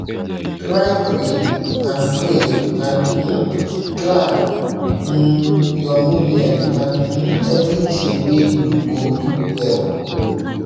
try pray and pray and um plan um your movement and um everything wey you go do well